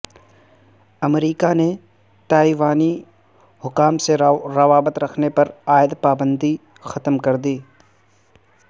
امریکہ نے تائیوانی حکام سے روابط رکھنے پر عائد پابندی ختم کر دی